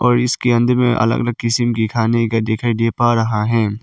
और इसके अंद में अलग अलग किस्म खाने का दिखाई दे पा रहा है।